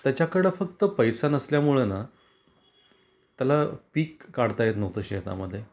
त्याच्याकडे फक्त पैसा नसल्या मुळेना त्याला पिक काढता येत नव्हत शेतामध्ये